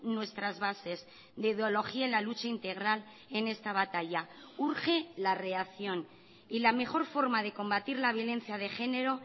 nuestras bases de ideología en la lucha integral en esta batalla urge la reacción y la mejor forma de combatir la violencia de genero